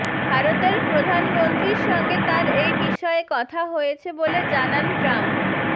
ভারতের প্রধানমন্ত্রীর সঙ্গে তাঁর এই বিষয়ে কথা হয়েছে বলে জানান ট্রাম্প